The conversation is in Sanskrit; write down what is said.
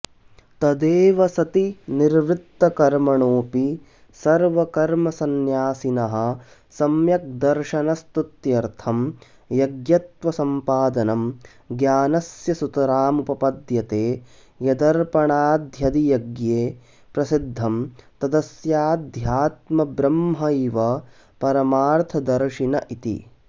तदेवं सति निवृत्तकर्मणोऽपि सर्वकर्मसंन्यासिनः सम्यग्दर्शनस्तुत्यर्थं यज्ञत्वसंपादनं ज्ञानस्य सुतरामुपपद्यते यदर्पणाद्यधियज्ञे प्रसिद्धं तदस्याध्यात्मंहब्रह्मैव परमार्थदर्शिन इति